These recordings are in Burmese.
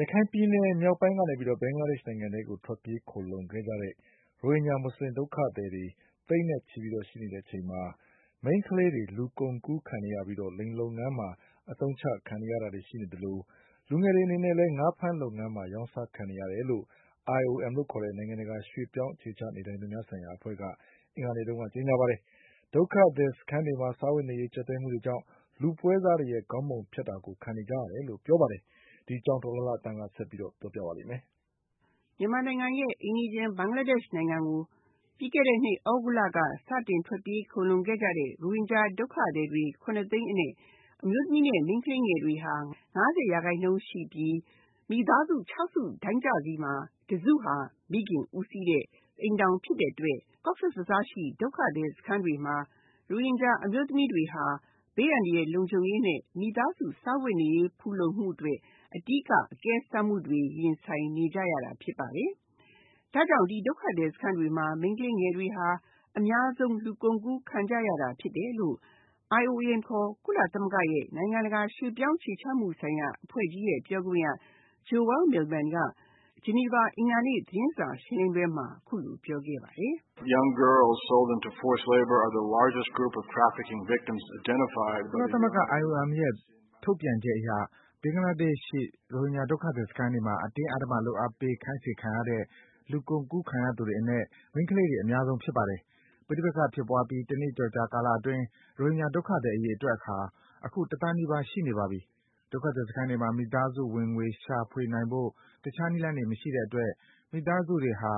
ရခိုင်ပြည်နယ်မြောက်ပိုင်းကနေပြီးတော့ ဘင်္ဂလားဒေ့ရှ်နိုင်ငံထဲကို ထွက်ပြေး ခိုလှုံခဲ့ကြတဲ့ ရိုဟင်ဂျာ မွတ်ဆလင်ဒုက္ခသည်တွေ သိန်းနဲ့ချီပြီးတော့ ရှိနေတဲ့အချိန်မှာ မိန်းကလေးတွေ လူကုန်ကူးခံနေရပြီးတော့ လိင်လုပ်ငန်းတွေမှာ အသုံးချခံနေရတာတွေ ရှိနေသလို လူငယ်တွေအနေနဲ့လည်း ငါးဖမ်းလုပ်ငန်းမှာ ရောင်းစားခံနေရတယ်လို့ IOM ခေါ် ကုလသမဂ္ဂရဲ့ နိုင်ငံတကာရွှေ့ပြောင်းအခြေချမှုဆိုင်ရာ အဖွဲ့က အင်္ဂါနေ့က ကြေညာ ပါတယ်။ ဒုက္ခသည်စခန်းတွေမှာ စားဝတ်နေရေး ကျပ်တည်းမှုတွေကြောင့် လူပွဲစားတွေရဲ့ ခေါင်းပုံဖြတ်တာကို ခံနေရတယ်လို့ ပြောပါတယ်။ ဒီအကြောင်း ဒေါ်လှလှသန်းက ဆက်ပြီးတော့ ပြောပြမှာပါ။ မြန်မာနိုင်ငံအိမ်နီးချင်း ဘင်္ဂလားဒေ့ရှ်နိုင်ငံကို ပြီးခဲ့တဲ့နှစ် သြဂုတ်လ က စတင် ထွက်ပြေးခိုလှုံခဲ့ကြတဲ့ ရိုဟင်ဂျာ ဒုက္ခသည်တွေ ၇ သိန်းအနက် အမျိုးသမီးနဲ့ မိန်းကလေးငယ်တွေဟာ ၅၀ ရာခိုင်နှုန်းရှိပြီး မိသားစု ၆ စု တိုင်းမှာ တစုဟာ မိခင်ဦးစီးတဲ့ အိမ်ထောင်ဖြစ်တဲ့အတွက် Cox’s bazar ရှိ ဒုက္ခသည်စခန်းတွေမှာ ရိုဟင်ဂျာ အမျိုးသမီး တွေဟာ ဘေးအန္တရာယ်လုံခြုံရေးနဲ့ မိသားစု စားဝတ်နေရေး ဖူလုံမှုအတွက် အဓိက အကဲဆက်မှုတွေ ရင်ဆိုင်နေကြရတာဖြစ်ပါတယ်။ ဒါကြောင့် ဒီဒုက္ခသည်စခန်းတွေမှာ မိန်းကလေးငယ်တွေဟာ အများဆုံး လူကုန်ကူးခံကြရတာ ဖြစ်တယ်လို့ IOM ခေါ် ကုလသမဂ္ဂရဲ့ နိုင်ငံတကာရွှေ့ပြောင်းအခြေချမှုဆိုင်ရာ အဖွဲ့ရဲ့ ပြောခွင့်ရ Joel Millman က ဂျနီဗာ အင်္ဂါနေ့ သတင်းစာရှင်းလင်းပွဲမှာ အခုလို ပြောခဲ့ပါတယ်။ “ကုလသမဂ္ဂ IOM ရဲ့ ထုတ်ပြန်ချက်အရ ဘင်္ဂလားဒေ့ရှ်ရှိ ရိုဟင်ဂျာဒုက္ခသည်စခန်းတွေမှာ အတင်းအဓမ္မ လုပ်အားပေး ခိုင်းစေခံခဲ့ရတဲ့ လူကုန်ကူးခံရသူတွေအနက် မိန်းကလေးငယ်တွေ အများဆုံး ဖြစ်ပါတယ်။ ပဋိပက္ခဖြစ်ပွားပြီး တနှစ်ကျော် ကာလ အတွင်း ရိုဟင်ဂျာ ဒုက္ခသည် အရေအတွက်ဟာ အခု တသန်းနီးပါး ရှိနေပါပြီ။ ဒီဒုက္ခသည်စခန်းတွေမှာ မိသားစု ဝင်ငွေ ရှာဖွေနိုင်ဖို့ တခြားနည်းလမ်းတွေ မရှိတဲ့အတွက် မိသားစုတွေဟာ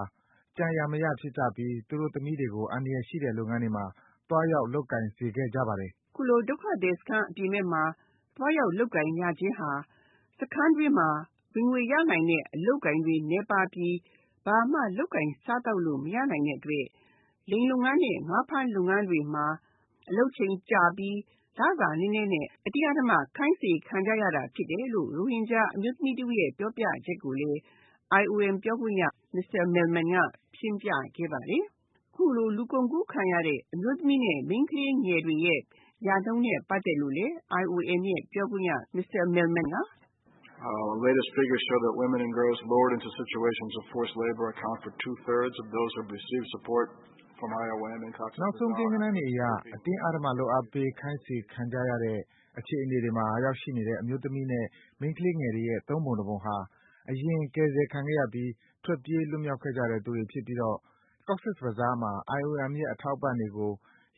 ကြံရာမရ ဖြစ်ကြပြီး သူတို့သမီးတွေကို အန္တရာယ်ရှိတဲ့ လုပ်ငန်းတွေမှာ သွားရောက် လုပ်ကိုင်စေခဲ့ကြပါတယ်။” အခုလို ဒုက္ခသည်စခန်းအပြင်ဘက်မှာ သွားရောက်လုပ်ကိုင်ခြင်းဟာ စခန်းအတွင်းမှာ ဝင်ငွေရနိုင်တဲ့ အလုပ်အကိုင်တွေနည်းပါးပြီး ဘာမှ လုပ်ကိုင်စားသောက်လို့ မရနိုင်တဲ့အတွက် လိင်လုပ်ငန်းနဲ့ ငါးဖမ်းလုပ်ငန်းတွေမှာ အလုပ်အချိန်ကြာပြီး လစာနည်းနည်းနဲ့ အတင်းအဓမ္မ ခိုင်းစေခံကြရတာဖြစ်တယ်လို့ ရိုဟင်ဂျာ အမျိုးသမီးတဦးရဲ့ ပြောပြချက်ကိုလည်း IOM ပြောခွင့်ရ Mr. Millman က ရှင်းပြခဲ့ပါတယ်။ အခုလို လူကုန်ကူးခံရတဲ့ အမျိုးသမီးနဲ့ မိန်းကလေးငယ်တွေရဲ့ ရနှုန်းနဲ့ ပတ်သက်လို့လည်း IOM ပြောခွင့်ရ Mr. Millman က “နောက်ဆုံး ကိန်းဂဏန်းတွေအရ အတင်းအဓမ္မ လုပ်အားပေးခိုင်းစေခံကြရတဲ့ အခြေအနေတွေမှာ ရောက်ရှိနေတဲ့ အမျိုးသမီးနဲ့ မိန်းကလေးငယ်တွေရဲ့ ၃ ပုံ ၊ ၂ ပုံဟာ အရင်က ကယ်ဆယ်ခံခဲ့ရပြီး ထွက်ပြေး လွှတ်မြောက်ခဲ့ကြတဲ့ သူတွေဖြစ်ပြီး Cox’s Bazar မှာ IOM ရဲ့ အထောက်အပံ့တွေကို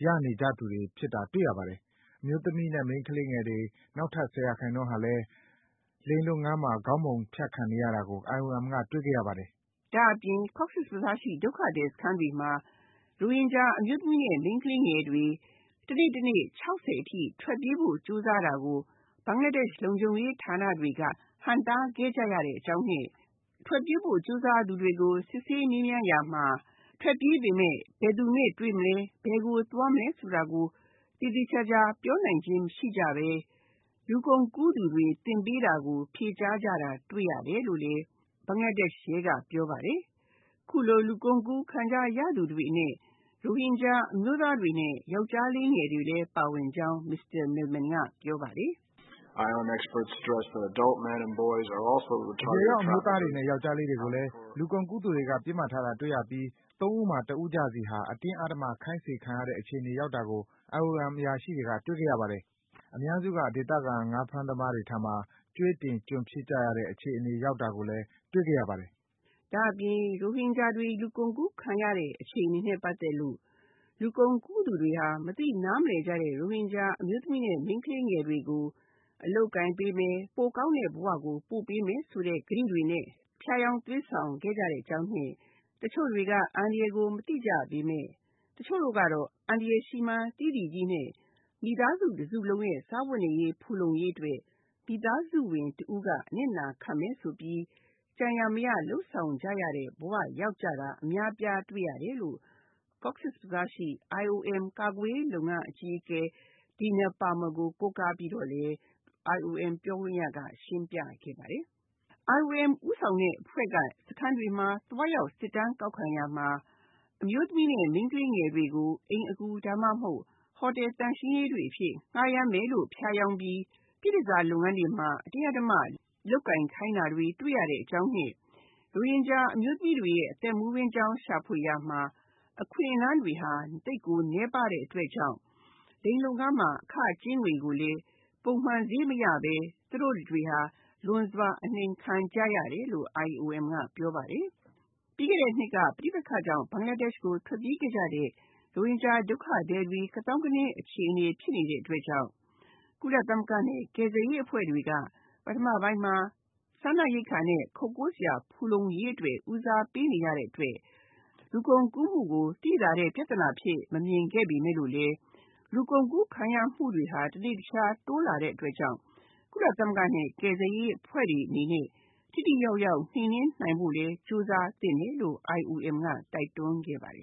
ရနေကြသူတွေ ဖြစ်တာ တွေ့ရပါတယ်။ အမျိုးသမီးနဲ့ မိန်းကလေးငယ်တွေ နောက်ထပ် ၁၀% ဟာလည်း လိင်လုပ်ငန်းမှာ ခေါင်းပုံဖြတ် ခံနေရတာကို IOM က တွေ့ခဲ့ရပါတယ်။” ဒါ့အပြင် Cox’s bazar ရှိ ဒုက္ခသည်စခန်းတွေမှာ ရိုဟင်ဂျာအမျိုးသမီးနဲ့ မိန်းကလေးငယ်တွေဟာ တနေ့တနေ့ ၆၀ အထိ ထွက်ပြေးဖို့ ကြိုးစားတာကို ဘင်္ဂလားဒေ့ရှ် လုံခြုံရေးဌာနတွေက ဟန့်တားခဲ့ကြရတဲ့အကြောင်းနဲ့ ထွက်ပြေးဖို့ ကြိုးစားသူတွေကို စစ်ဆေးမေးမြန်းရာမှာ ထွက်ပြေးပေမယ့် ဘယ်သူနဲ့ တွေ့မလဲ ၊ ဘယ်ကို သွားမလဲ ဆိုတာကို သေသေချာချာပြောနိုင်ခြင်းမရှိကြပဲ လူကုန်ကူးသူတွေ သင်ပေးတာကို ဖြေကြားတာ ကို တွေ့ရတယ်လို့ ဘင်္ဂလားဒေ့ရှ်ရဲက ပြောပါတယ်။ အခုလို လူကုန်ကူး ခံကြရသူတွေထဲ ရိုဟင်ဂျာ အမျိုးသားတွေနဲ့ ယောကျ်ားလေးတွေလည်းပါကြောင်း Mr. Millman ကပြောပါတယ်။ “အရွယ်ရောက် အမျိုးသားတွေနဲ့ ယောကျ်ားလေးတွေကိုလည်း လူကုန်ကူးသူတွေက ပစ်မှတ်ထားတာတွေ့ရပြီး ၃ ဦးမှာ ၁ ဦးကျစီဟာ အတင်းအဓမ္မ ခိုင်းစေခံရတဲ့ အခြေအနေ ရောက်တာကို IOM အရာရှိတွေက တွေ့ခဲ့ရပါတယ်။ အများစုက ဒေသခံ ငါးဖမ်းသမားတွေ ထံမှာ ကြွေးတင် ကျွန်ဖြစ်ကြရတဲ့ အခြေအနေရောက်တာကိုလည်း တွေ့ခဲ့ရပါတယ်။” ဒါ့အပြင် ရိုဟင်ဂျာတွေ လူကုန်ကူးခံရတဲ့ အခြေအနေနဲ့ ပတ်သက်လို့ လူကုန်ကူး သူတွေဟာ မသိနားမလည်ကြတဲ့ ရိုဟင်ဂျာအမျိုးသမီး နဲ့ မိန်းကလေးငယ်တွေကို အလုပ်အကိုင်ပေးမယ် ၊ ပိုကောင်းတဲ့ ဘဝကို ပို့ပေးမယ် ဆိုတဲ့ ကတိတွေနဲ့ ဖြားယောင်းသွေးဆောင်ခဲ့ကြတဲ့အကြောင်းနဲ့ တချို့တွေက အန္တရာယ်ကို မသိကြပေမယ့် တချို့ကတော့ အန္တရာယ်ရှိမှန်းသိသိကြီးနဲ့ မိသားစု တစုလုံးရဲ့ စားဝတ်နေရေး ဖူလုံရေး အတွက် မိသားစုဝင်တဦးက အနစ်နာခံမယ်ဆိုပြီး ကြံရာမရ လုပ်ဆောင်ကြရတဲ့ ဘဝရောက်ကြတာ အများအပြားတွေ့ရတယ်လို့ Cox’s bazar ရှိ IOM ကာကွယ်ရေး လုပ်ငန်းအကြီးအကဲ Dina Parmer ကို ကိုးကားပြီးတော့လည်း IOM ပြောခွင့်ရက ရှင်းပြခဲ့ပါတယ်။ IOM ဦးဆောင်တဲ့အဖွဲ့က စခန်းတွေမှာ သွားရောက်စစ်တမ်းကောက်ခံရမှာ ရိုဟင်ဂျာ အမျိုးသမီး နဲ့ မိန်းကလေးငယ်တွေကို အိမ်အကူ၊ ဒါမှမဟုတ် ဟိုတယ် သန့်ရှင်းရေးတွေ အဖြစ် ဌားရမ်းမယ်လို့ ဖြားယောင်းပြီး ပြည့်တန်ဆာ လုပ်ငန်းတွေမှာ အတင်းအဓမ္မ လုပ်ကိုင်ခိုင်းတာတွေ တွေ့ရကြောင်းနဲ့ ရိုဟင်ဂျာအမျိုးသမီးတွေရဲ့ အသက်မွေးဝမ်းကြောင်း ရှာဖွေရာမှာ အခွင့်အလန်းတွေဟာ သိပ်နည်းပါးတဲ့ အတွက်ကြောင့် လိင်လုပ်ငန်းမှာ အခကြေးငွေကိုလည်း ပုံမှန်ဈေးမရပဲ သူတို့တွေဟာ လွန်စွာ အနှိမ်ခံကြရတယ်လို့ IOMကပြောပါတယ်။ ပြီးခဲ့တဲ့နှစ်က ပဋိပက္ခကြောင့် ဘင်္ဂလားဒေ့ရှ်ကို ထွက်ပြေးခဲ့ကြတဲ့ ရိုဟင်ဂျာဒုက္ခသည်တွေ ကသောင်းကနင်းအခြေအနေဖြစ်နေတဲ့အတွက်ကြောင့် ကုလသမဂ္ဂနဲ့ ကယ်ဆယ်ရေး အဖွဲ့တွေက ပထမပိုင်းမှာ စားနပ်ရိက္ခာနဲ့ ခိုကိုးစရာ ဖူလုံရေးအတွက် ဦးစားပေး နေရတဲ့အတွက် လူကုန်ကူးမှုကို သိသာတဲ့ ပြဿနာအဖြစ် မမြင်ခဲ့ပေမယ့်လို့ လူကုန်ကူးခံရမှုတွေဟာ တနေ့တခြားတိုးလာတဲ့အတွက်ကြောင့် ကုလသမဂ္ဂနဲ့ ကယ်ဆယ်ရေးအဖွဲ့တွေအနေနဲ့ ထိထိရောက်ရောက် နှိမ်နင်းနိုင်ဖို့လည်း ကြိုးစားသင့်တယ်လို့ IOM က တိုက်တွန်းခဲ့ပါတယ်